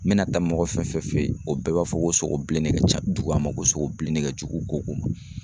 Mɛna taa mɔgɔ fɛn fɛn fɛ ye o bɛɛ b'a fɔ ko sogo bilen ne ka ca dugu a ma ko sogo bilen ne ka jugu koko ma.